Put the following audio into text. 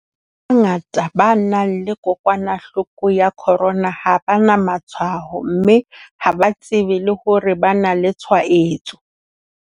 Batho ba bangata ba nang le kokwanahloko ya corona ha ba na matshwao mme ha ba tsebe le hore ba na le tshwaetso.